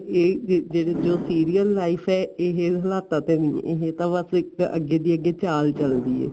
ਇਹ ਜੋ ਜਿਹੜੀ serial life ਏ ਇਹ ਹਲਾਤਾ ਤੇ ਇਹ ਤਾਂ ਬੱਸ ਇਕ ਅੱਗੇ ਤੇ ਅੱਗੇ ਚਾਲ ਚੱਲਦੀ ਏ